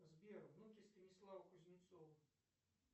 сбер внуки станислава кузнецова